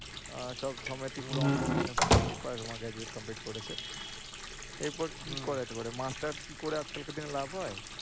আহ সবসময় honours করেছে এরপর কি করা যেতে পারে? মাস্টার্স কি করে আজ-কালকার দিনে কি কোন লাভ হয়?